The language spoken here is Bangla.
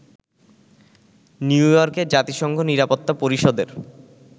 নিউইয়র্কে জাতিসংঘ নিরাপত্তা পরিষদের